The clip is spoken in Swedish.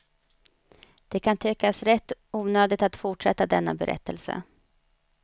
Det kan tyckas rätt onödigt att fortsätta denna berättelse.